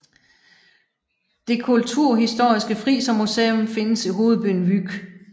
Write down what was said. Det kulturhistoriske Frisermuseum findes i hovedbyen Vyk